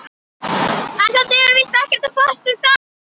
En það dugar víst ekkert að fást um það.